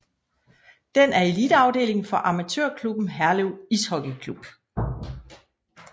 Den er eliteafdeling for amatørklubben Herlev Ishockey Klub